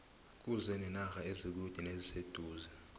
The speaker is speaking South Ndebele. kuze nenarha ezikude neziseduze